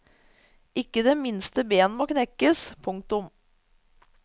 Ikke det minste ben må knekkes. punktum